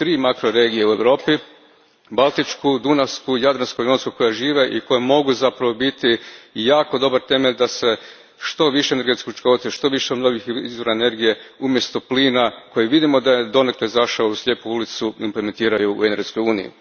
imamo tri makroregije u Europi Baltičku, Dunavsku i Jadransko jonsku koje žive i koje mogu zapravo biti jako dobar temelj da se što više energetske učinkovitosti, što više novih izvora energije, umjesto plina koji vidimo da je donekle zašao u slijepu ulicu, implementira u energetskoj uniji.